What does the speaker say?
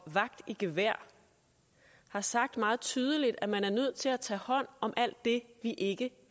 vagt i gevær har sagt meget tydeligt at man er nødt til at tage hånd om alt det vi ikke